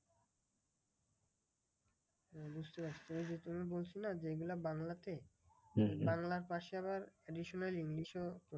হম বুঝতে পারছি ওই যে তুমি বলছো না যে, এইগুলা বাংলাতে বাংলার পাশে আবার additional english এও